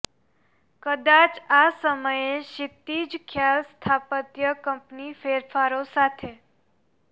કદાચ આ સમયે ક્ષિતિજ ખ્યાલ સ્થાપત્ય કંપની ફેરફારો સાથે